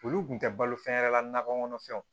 Olu kun tɛ balo fɛn yɛrɛ la nakɔ kɔnɔfɛnw